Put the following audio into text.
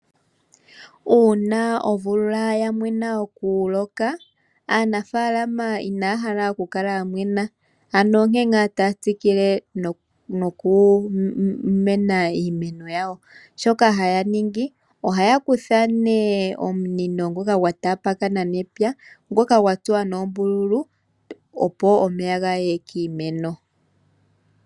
Uuna omvula ya mwena okuloka, aanafalama inaya hala okukala ya mwena ano onkee ngaa taya tsikile nokukuna iimeno yawo. Ohaya kutha nee omunino ngoka gwataakana nepya, ngoka gwa tsuwa noombululu, opo omeya ga ye piimeno yawo.